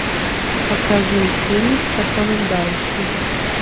покажи фильм сопровождающий